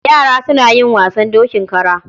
Yara suna yi wasan dokin kara.